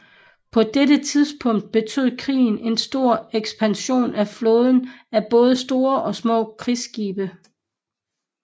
På dette tidspunkt betød krigen en stor ekspansion af flåden af både store og små krigsskibe